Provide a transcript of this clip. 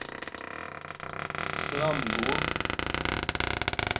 framgår